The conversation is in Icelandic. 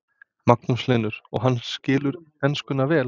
Magnús Hlynur: Og hann skilur enskuna vel?